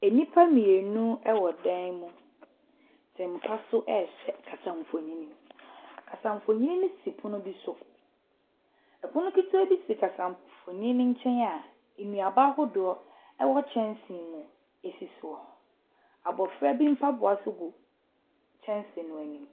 Nnipa mmienu wɔ dan mu te mpa so rehwɛ kasamfonin. Kasamfonin no si pono bi so. Pono ketewa bi si kasamfonin no nkyɛn a nnuaba ahodoɔ wɔ kyɛnsee mu si so. Abɔfra bi mpaboa nso gu kyɛnsee no anim.